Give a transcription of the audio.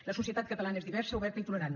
la societat catalana és diversa oberta i tolerant